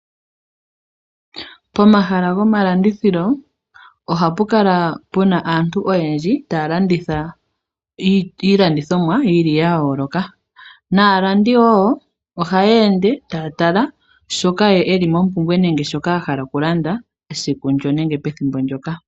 Pomahala gomalandithilo ohapu kala puna aantu oyendji taya landitha iilandithomwa yili ya yooloka naalandi woo ohaye ende taya tala shoka ye eli mompumbwe nenge shoka ahala okulanda esiku ndono nenge pethimbo ndoka .